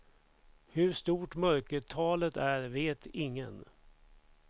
Hur stort mörkertalet är vet ingen.